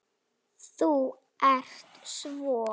Þú ert svo.